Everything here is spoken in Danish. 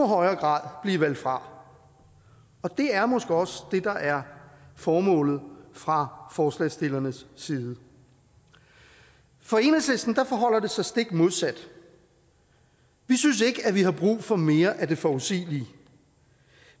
højere grad blive valgt fra og det er måske også det der er formålet fra forslagsstillernes side for enhedslisten forholder det sig stik modsat vi synes ikke at vi har brug for mere af det forudsigelige